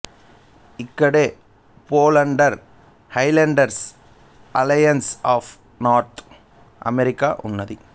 ఇక్కడ Poland Highlanders Alliance of North America ఉంది